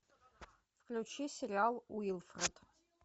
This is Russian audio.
включи сериал уилфред